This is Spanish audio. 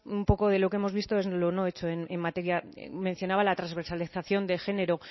un poco de lo que hemos visto es lo no hecho en materia de mencionaba la transversalización de género